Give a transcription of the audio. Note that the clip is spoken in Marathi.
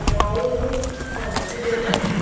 नाही अह तू जेवलास